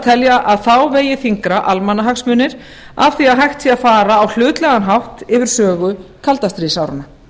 telja að þá vegi þyngra almannahagsmunir af því að hægt sé að fara á hlutlægan hátt yfir sögu kaldastríðsáranna